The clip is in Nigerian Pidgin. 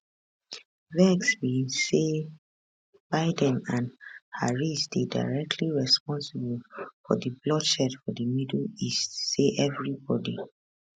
vex be say biden and harris dey directly responsible for di bloodshed for di middle east say evribodi